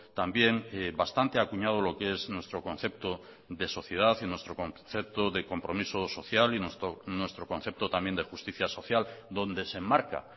también bastante acuñado lo que es nuestro concepto de sociedad y nuestro concepto de compromiso social y nuestro concepto también de justicia social donde se enmarca